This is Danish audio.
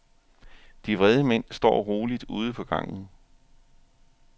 De vrede mænd står roligt ude på gangen.